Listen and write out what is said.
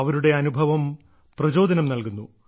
അവരുടെ അനുഭവം പ്രചോദനം നൽകുന്നു